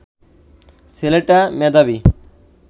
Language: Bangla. ছেলেটা মেধাবী